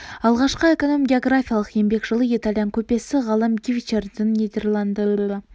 алғашқы эконом-географиялық еңбек жылы итальян көпесі ғалым гвиччардинидің нидерландының сипаттамасы атты кітабы болып саналады